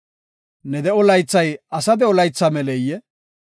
Ne de7o laythay asa de7o laytha meleyee?